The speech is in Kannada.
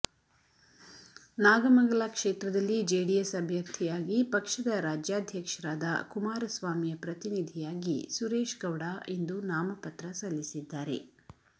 ನಾಗಮಂಗಲ ಕ್ಷೇತ್ರದಲ್ಲಿ ಜೆಡಿಎಸ್ ಅಭ್ಯರ್ಥಿಯಾಗಿ ಪಕ್ಷದ ರಾಜ್ಯಾಧ್ಯಕ್ಷರಾದ ಕುಮಾರಸ್ವಾಮಿಯ ಪ್ರತಿನಿಧಿಯಾಗಿ ಸುರೇಶ್ಗೌಡ ಇಂದು ನಾಮಪತ್ರ ಸಲ್ಲಿಸಿದ್ದಾರೆ